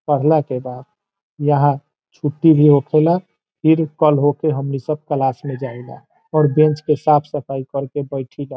पढ़ला के बाद यहां छुट्टी भी होखेला फिर कल होखे हमनी सब क्लास में जाईला और बैंच के साफ सफाई कर के बैठीला।